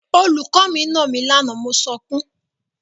Olùkọ́ mi nà mí lánàá mo sunkún.